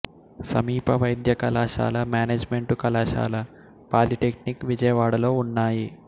సమీప వైద్య కళాశాల మేనేజిమెంటు కళాశాల పాలీటెక్నిక్ విజయవాడలో ఉన్నాయి